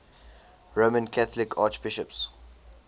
roman catholic archbishops